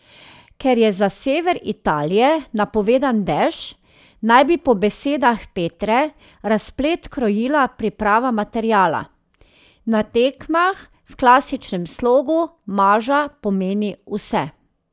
Ker je za sever Italije napovedan dež, naj bi po besedah Petre razplet krojila priprava materiala: 'Na tekmah v klasičnem slogu maža pomeni vse.